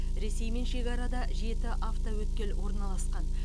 ресеймен шекарада жеті автоөткел орналасқан